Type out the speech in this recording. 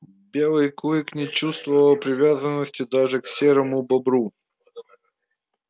белый клык не чувствовал привязанности даже к серому бобру